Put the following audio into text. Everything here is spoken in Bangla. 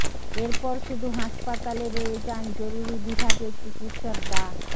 এরপর শুধু হাসপাতালে রয়ে যান জরুরি বিভাগের চিকিৎসক ডা